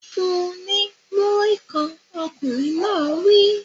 Fun-un ní Múrí-kan! Ọkùnrin náà wí.